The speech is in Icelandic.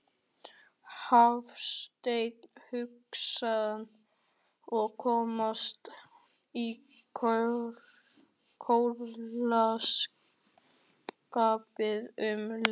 Hafsteinn Hauksson: Og komast í jólaskapið um leið?